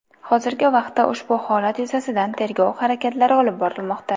Hozirgi vaqtda ushbu holat yuzasidan tergov harakatlari olib borilmoqda.